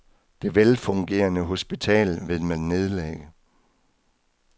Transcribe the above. Det velfungerende hospital vil man nedlægge.